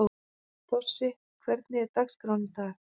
Þossi, hvernig er dagskráin í dag?